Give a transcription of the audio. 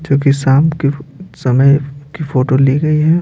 क्योंकि शाम की समय की फोटो ली गई है।